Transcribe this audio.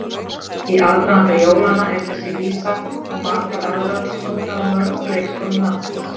Í aðdraganda jólanna er þessi vísa og margar aðrar sungnar á mörgum leikskólum landsins.